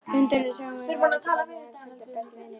Hundurinn Sámur var ekki barnið hans heldur besti vinurinn.